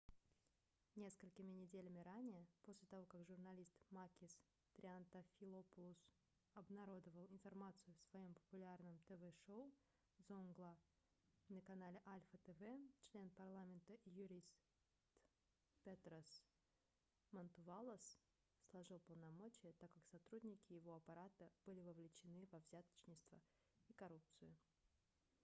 несколькими неделями ранее после того как журналист макис триантафилопулос обнародовал информацию в своем популярном тв-шоу zoungla на канале alpha tv член парламента и юрист петрос мантувалос сложил полномочия так как сотрудники его аппарата были вовлечены во взяточничество и коррупцию